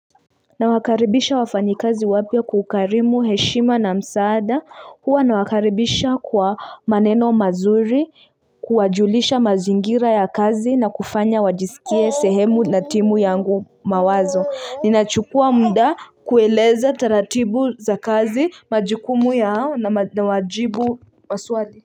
Nawakaribisha wafanyikazi wapya kwa ukarimu heshima na msaada huwa nawakaribisha kwa maneno mazuri kuwajulisha mazingira ya kazi na kufanya wajisikie sehemu na timu yangu mawazo ninachukua mda kueleza taratibu za kazi majukumu yao nawajibu maswali.